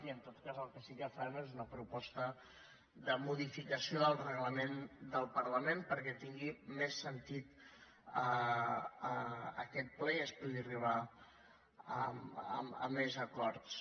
i en tot cas el que sí que farem és una proposta de modificació del reglament del parlament perquè tingui més sentit aquest ple i es pugui arribar a més acords